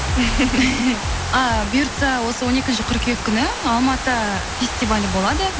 ааа бұйыртса осы он екінші қыркүйек күні алматы фестивалі болады